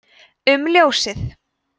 um ljósið